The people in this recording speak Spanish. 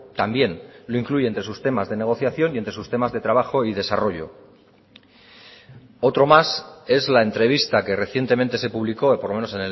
también lo incluye entre sus temas de negociación y entre sus temas de trabajo y desarrollo otro más es la entrevista que recientemente se publicó por lo menos